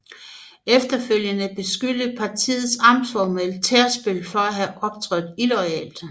Efterfølgende beskyldte partiets amtsformand Tærsbøl for at have optrådt illoyalt